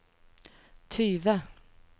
tyve